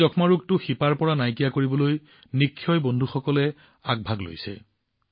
এই যক্ষ্মা ৰোগক শিপাৰ পৰাই নিঃশেষ কৰিবলৈ নিক্ষয় বন্ধুৱে অভিযান চলাইছে